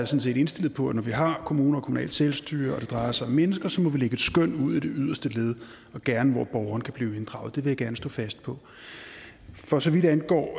set indstillet på at når vi har kommuner og kommunalt selvstyre og det drejer sig om mennesker så må vi lægge et skøn ud i det yderste led og gerne hvor borgeren kan blive inddraget det vil jeg gerne stå fast på for så vidt angår